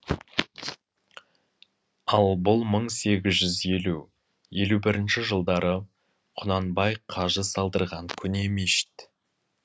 ал бұл мың сегіз жүз елу елу бірінші жылдары құнанбай қажы салдырған көне мешіт